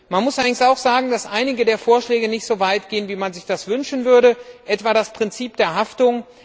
Man muss allerdings auch sagen, dass einige der Vorschläge nicht so weit gehen, wie man sich das wünschen würde, etwa das Prinzip der Haftung.